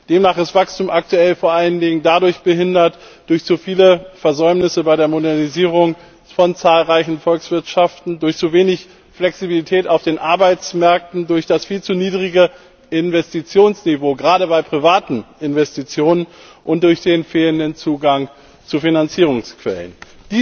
Demnach wird das Wachstum aktuell vor allen Dingen durch zu viele Versäumnisse bei der Modernisierung von zahlreichen Volkswirtschaften, durch zu wenig Flexibilität auf den Arbeitsmärkten, durch das viel zu niedrige Investitionsniveau, gerade bei privaten Investitionen, und durch den fehlenden Zugang zu Finanzierungsquellen behindert.